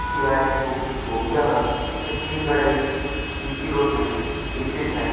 Tiwari book depot यह छिटनी गड़हइ सी सी रोड में स्थित है।